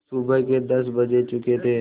सुबह के दस बज चुके थे